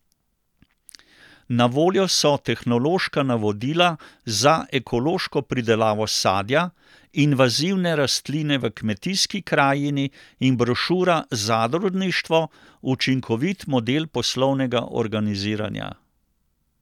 Na voljo so Tehnološka navodila za ekološko pridelavo sadja, Invazivne rastline v kmetijski krajini in brošura Zadružništvo, učinkovit model poslovnega organiziranja.